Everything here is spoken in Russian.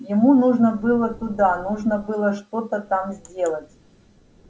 ему нужно было туда нужно было что-то там сделать